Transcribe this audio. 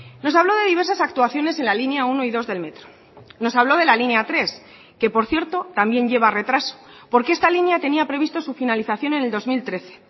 nos habló de diversas actuaciones en la línea uno y dos del metro nos habló de la línea tres que por cierto también lleva retraso porque esta línea tenía previsto su finalización en el dos mil trece